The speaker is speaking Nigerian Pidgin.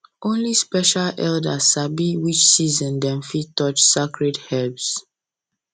only special elders sabi which season dem fit touch sacred herbs